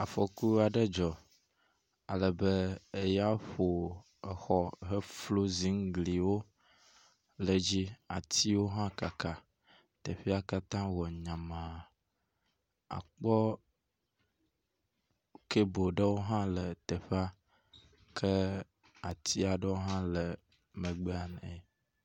Afɔku aɖe dzɔ ale be, eya ƒo exɔ heflo ziŋgliwo le edzi. Atiwo hã kaka. Teƒea katã wɔ nyama. Akpɔ kabe ɖewo hã le teƒea ke atsi aɖewo hã le megbea ne.